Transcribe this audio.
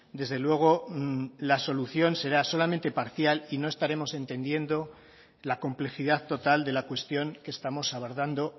desde luego la solución será solamente parcial y no estaremos entendiendo la complejidad total de la cuestión que estamos abordando